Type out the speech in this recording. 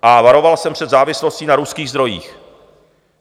A varoval jsem před závislostí na ruských zdrojích.